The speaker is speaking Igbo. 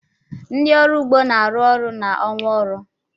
Ndị ọrụ ugbo na-arụ ọrụ n'ọnwa ọrụ.